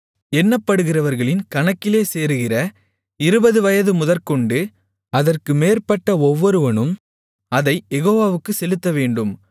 எண்ணப்படுகிறவர்களின் கணக்கிலே சேருகிற இருபது வயது முதற்கொண்டு அதற்கு மேற்பட்ட ஒவ்வொருவனும் அதைக் யெகோவாவுக்குச் செலுத்தவேண்டும்